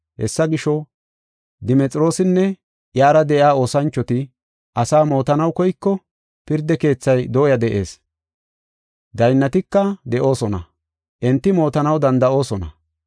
Hessa gisho, Dimexiroosinne iyara de7iya oosanchoti asaa mootanaw koyko, pirda keethay dooya de7ees; daynnatika de7oosona; enti mootanaw danda7oosona.